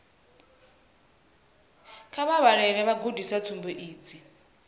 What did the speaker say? kha vha vhalele vhagudiswa tsumbo idzi